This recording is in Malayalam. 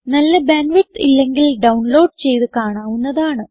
നല്ല ബാൻഡ് വിഡ്ത്ത് ഇല്ലെങ്കിൽ ഡൌൺലോഡ് ചെയ്ത് കാണാവുന്നതാണ്